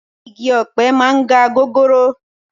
Igi ọ̀pẹ máa ń ga gogoro